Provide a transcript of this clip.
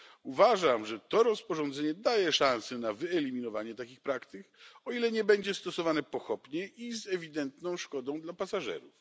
Uważam, że to rozporządzenie daje szanse na wyeliminowanie takich praktyk, o ile nie będzie stosowane pochopnie i z ewidentną szkodą dla pasażerów.